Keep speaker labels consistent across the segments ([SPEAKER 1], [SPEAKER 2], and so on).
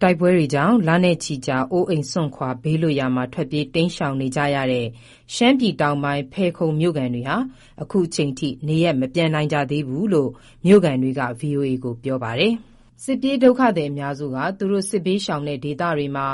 [SPEAKER 1] တိုက်ပွဲကြောင့် လနဲ့ချီကြာ အိုးအိမ်စွန့်ခွာ ဘေးလွတ်ရာမှာ ထွက်ပြေးတိမ်းရှောင်နေကြရတဲ့ ရှမ်းပြည်တောင်ပိုင်း ဖယ်ခုံမြို့ခံတွေဟာ ခုချိန်ထိ နေရပ်မပြန်နိုင်ကြသေးဘူးလို့ မြို့ခံတွေက ဗွီအိုအေကို ပြောပါတယ်။ စစ်ပြေးဒုက္ခသည်အများစုက သူတို့စစ်ဘေးရှောင်တဲ့ဒေသတွေမှာ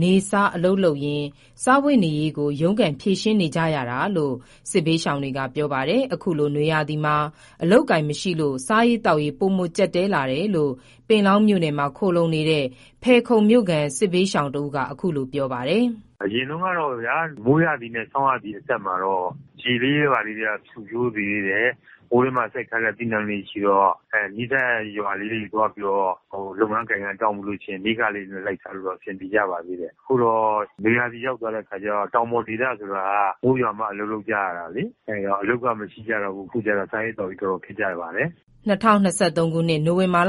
[SPEAKER 1] နေ့စားအလုပ်လုပ်ရင်း စားဝတ်နေရေးကို ရုန်းကန်ဖြေရှင်းနေရကြတာလို့ စစ်ဘေးရှောင်တွေက ပြောပါတယ်။ အခုလို နွေရာသီမှာ အလုပ်အကိုင်မရှိလို့ စားရေးသောက်ရေး ပိုမိုကျပ်တည်းလာတယ်လို့ ပင်လောင်းမြို့နယ်မှာ ခိုလှုံနေတဲ့ ဖယ်ခုံမြို့ ခံစစ်ဘေးရှောင်တစ်ဦးက အခုလို ပြောပါတယ်။
[SPEAKER 2] “အရင်တုန်းကပေါ့ဗျာ…မိုးရာသီနဲ့ ဆောင်းရာသီအဆက်မှာတော့ ရေလေးတွေ ဘာလေးတွေ ဖွံ့ဖြိုးသေးတယ်။ ဟိုထဲမှာ စိုက်ထားတဲ့ အသီးအနှံလေးတွေရှိတော့ နီးစပ်ရာ ရွာလေးတွေ သွားပြီးတော့ လုပ်ရကိုင်ရ တောင်းပြီးတော့ နေ့စားလေး လိုက်စားလို့တော့ အဆင်ပြေကြပါသေးတယ်။ အခုတော့ နွေရာသီရောက်သွားတဲ့အခါကြတော့ တောင်ပေါ်ဒေသဆိုတာက မိုးရွာမှအလုပ်လုပ်ကြရတာလေ အဲ့တော့ အလုပ်ကမရှိကြတော့ဘူး။ အခုတော့ စားရေးသောက်ရေးတော်တော်ခက်ကြပါ
[SPEAKER 1] တယ်။” ၂၀၂၃ ခုနှစ် နိုဝင်ဘာလ တလ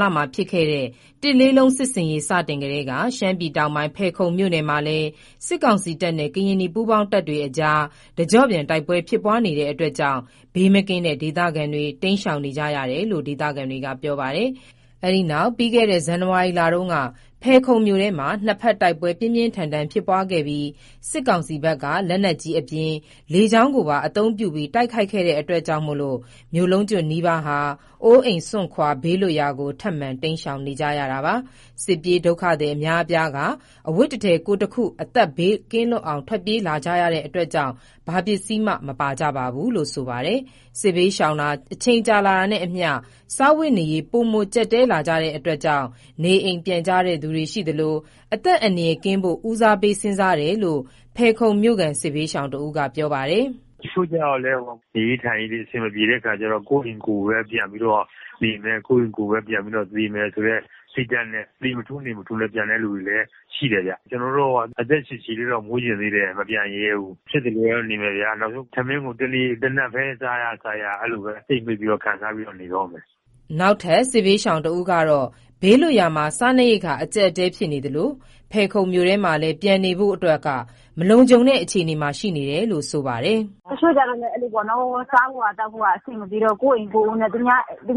[SPEAKER 1] လုံး စစ်ဆင်ရေး စတင်ကတည်းက ရှမ်းပြည်တောင်ပိုင်း ဖယ်ခုံမြို့နယ်မှာလည်း စစ်ကောင်စီတပ်နဲ့ ကရင်နီပူးပေါင်းတပ်တွေအကြား တကျော့ပြန် တိုက်ပွဲဖြစ်ပွားနေတာကြောင့် ဘေးမကင်းတဲ့ ဒေသခံတွေ တိမ်းရှောင်နေကြရတယ်လို့ ဒေသခံတွေက ပြောပါတယ်။ ပြီးခဲ့တဲ့ ဇန်နဝါရီလတုန်းက ဖယ်ခုံမြို့ထဲမှာ နှစ်ဖက် တိုက်ပွဲပြင်းပြင်းထန်ထန် ဖြစ်ပွားခဲ့ပြီး စစ်ကောင်စီဘက်က လက်နက်ကြီးအပြင် လေကြောင်းပါ အသုံးပြုပြီး ခုခံတိုက်ခိုက်ခဲ့တာကြောင့် မြို့လုံးကျွတ်နီးပါး အိုးအိမ်စွန့်ခွာ ဘေးလွတ်ရာကို ထပ်မံတိမ်းရှောင်နေကြရတာပါ။ စစ်ပြေးဒုက္ခသည်အများအပြားက အဝတ်တထည် ကိုယ်တခု အသက်ဘေးလွတ်ကင်းအောင် ထွက်ပြေးလာကြတာကြောင့်လည်း ဘာပစ္စည်းမှ မပါကြပါဘူးလို့ ဆိုပါတယ်။ စစ်ဘေးရှောင်လာတာ အချိန်ကြာတာနဲ့အမျှ စားဝတ်နေရေး ပိုမိုကျပ်တည်း လာကြတာမို့ နေအိမ်ပြန်ကြတဲ့သူတွေ ရှိသလို အသက် အန္တရယ်ကင်းဖို့ ဦးစားပေးစဥ်းစားတယ်လို့ ဖယ်ခုံမြို့ ခံ စစ်ဘေးရှောင်က ပြောပါတယ်။ “တချို့ကြတော့လည်း ဟိုဟာ…
[SPEAKER 2] နေရေးထိုင်ရေးတွေ အဆင်မပြေတဲ့အခါကျတော့ ကိုယ့်အိမ်ကိုပဲ ပြန်ပြီးတော့ နေမယ်၊ ကိုယ့်အိမ်ကိုပဲ ပြန်ပြီးတော့ သေမယ်ဆိုတဲ့ စိတ်ဓာတ်နဲ့ သေမထူးနေမထူးလည်း ပြန်တဲ့လူလည်း ရှိတယ်ဗျ။ ကျနော်တို့ အသက်ရှည်ရှည်တော့ နေချင်သေးတယ်။ မပြန်ရဲဘူး။ ဖြစ်သလိုတော့ နေမယ်ဗျာ နောက်ဆုံး ထမင်းကို တနပ်ပဲ စားရ စားရ အဲ့လို့ပဲ ကြိတ်မှိတ်ပြီးတော့ ခံစားပြီးတော့ နေတော
[SPEAKER 1] ့မယ်။” နောက်ထပ် စစ်ဘေးရှောင်တဦးက ဘေးလွတ်ရာမှာ စားနပ်ရိက္ခာအကျပ်အတည်းဖြစ်နေသလို ဖယ်ခုံမြို့ထဲမှာလည်း ပြန်နေလို့ မလုံခြုံတဲ့အခြေအနေမှာ ရှိနေတယ်လို့ ဆိုပါတယ်။
[SPEAKER 3] “တချို့ကျတော့ အဲ့လိုပေါ့နော်၊ စားဖို့သောက်ဖို့ အဆင်မပြေတော့၊ ကိုယ့်အိမ်ကိုယ်နဲ့ သူ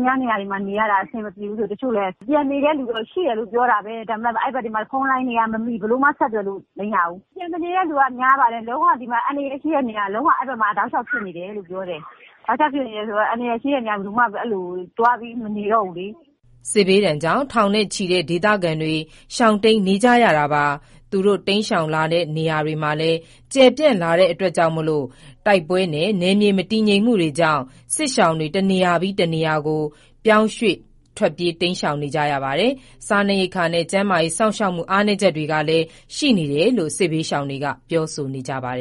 [SPEAKER 3] များနေရာရတာအဆင်မပြေဘူးဆို တချို့လည်း ပြန်နေတဲ့လူတော့ ရှိတယ်လို့ ပြောတာပဲ ဒါပေမယ့် အဲ့ဘက်တွေမှာ ဖုန်းလိုင်းတွေက မမိ၊ ဘယ်လိုမှ ဆက်သွယ်လို့မရဘူး။ ပြန်မနေတဲ့လူက များပါတယ်။ လုံးဝ အန္တရာယ်ရှိတဲ့နေရာ လုံးဝအဲဒီဘက်မှာ တောက်လျှောက်ဖြစ်တယ်လို့ ပြောတယ်။ တောက်လျှောက်ဖြစ်နေတယ်ဆိုတော့ အန္တရာယ်ရှိတဲ့ နေရာ ဘယ်သူမှ အဲဒီလိုသွားပြီးမနေတော့ဘူးလေ။”
[SPEAKER 1] စစ်ဘေးဒဏ်ကြောင့် ထောင်နဲ့ချီတဲ့ ဒေသခံတွေ ရှောင်တိမ်းနေကြရတာပါ။ သူတို့တိမ်းရှောင်လာတဲ့ နေရာတွေမှာလည်း ကျယ်ပြန့်လာတဲ့ တိုက်ပွဲနဲ့ နယ်မြေမတည်ငြိမ်မှုကြောင့် စစ်ရှောင်တွေ တနေရာပြီး တနေရာ ပြောင်းရွှေ့ပြေးရှောင်နေကြသလို စားနပ်ရိပ်က္ခာနဲ့ ကျန်းမာရေး စောင့်ရှောက်မှု အားနည်းချက်ရှိတယ်လို့ စစ်ဘေးရှောင်တွေက ပြောဆိုကြပါတ